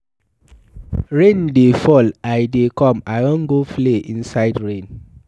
Rain dey fall. I dey come, I wan go play inside rain.